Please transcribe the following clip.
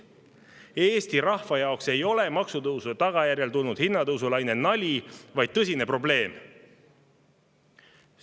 Eesti rahva jaoks ei ole maksutõusude tagajärjel tulnud hinnatõusulaine nali, vaid tõsine probleem.